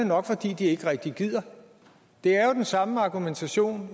nok fordi de ikke rigtig gider det er jo den samme argumentation